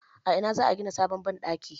A ina za a gina sabon banɗaki?